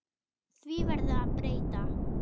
Því verður að breyta.